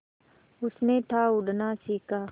उसने था उड़ना सिखा